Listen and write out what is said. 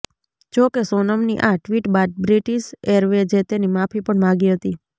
જોકે સોનમની આ ટ્વિટ બાદ બ્રિટીશ એરવેજે તેની માફી પણ માગી હતી